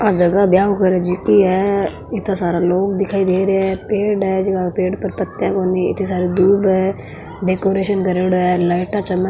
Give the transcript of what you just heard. आ जगह ब्याव करे जीती है इत्ता सारा लोग दिखाई दे रेया है पेड़ है जका के पेड़ पर पत्तिया कोणी इत्ते सारी दूब है डेकोरेशन करेडो है लाइटा चमक --